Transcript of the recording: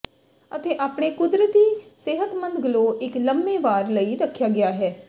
ਅਤੇ ਆਪਣੇ ਕੁਦਰਤੀ ਸਿਹਤਮੰਦ ਗਲੋ ਇੱਕ ਲੰਮੇ ਵਾਰ ਲਈ ਰੱਖਿਆ ਗਿਆ ਹੈ